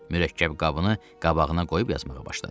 Mürəkkəb qabını qabağına qoyub yazmağa başladı.